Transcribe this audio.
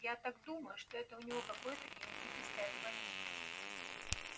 я так думаю что это у него какое-то генетическое отклонение